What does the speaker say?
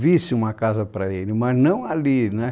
visse uma casa para ele, mas não ali, né?